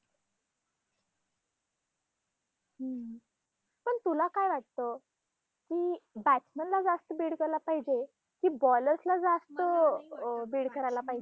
हम्म पण तुला काय वाटतं? की batsman ला जास्त bid द्यायला पाहिजे कि ballers ला जास्त अं bid करायला पाहिजे?